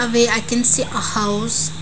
where i can see a house.